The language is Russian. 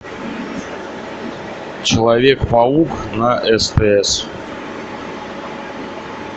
человек паук на стс